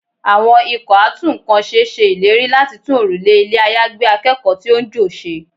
Àwọn ikọ̀ a tún ǹkan ṣe ṣe ìlérí láti tún òrùlé ilé àyágbé akẹ́kọ̀ọ́ tí ó ń jò ṣe.